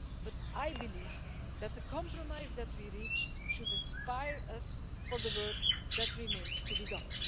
But I believe that the compromise that we reached should inspire us for the work that remains to be done.